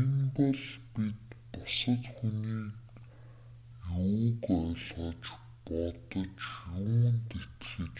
энэ бол бид бусад хүний юуг ойлгож бодож юунд итгэж